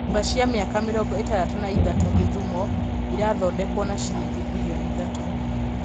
Nyũmba cia mĩaka mĩrongo ĩtandatũ na ithatũ Gĩthumo irathondekwo na shiringi mbirioni ithatũ.